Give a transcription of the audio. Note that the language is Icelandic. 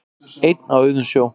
Einn á auðum sjó